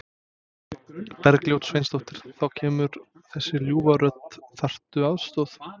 Bergljót Sveinsdóttir: Þá kemur þessi ljúfa rödd, þarftu aðstoð?